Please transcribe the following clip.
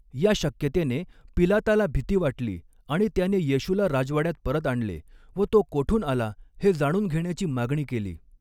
या शक्यतेने पिलाताला भीती वाटली आणि त्याने येशूला राजवाड्यात परत आणले व तो कोठून आला हे जाणून घेण्याची मागणी केली.